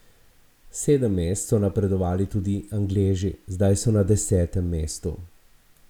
Sedem mest so napredovali tudi Angleži, zdaj so na desetem mestu.